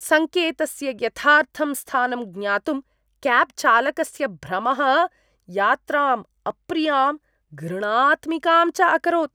सङ्केतस्य यथार्थं स्थानं ज्ञातुं क्याब् चालकस्य भ्रमः यात्राम् अप्रियां, घृणात्मिकाम् च अकरोत्।